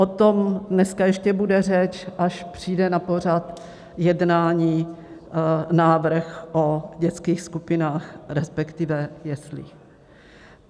O tom dneska ještě bude řeč, až přijde na pořad jednání, návrh o dětských skupinách, respektive jeslích.